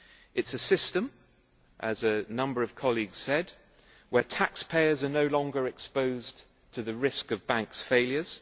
It is a system, as a number of colleagues said, where taxpayers are no longer exposed to the risk of bank failures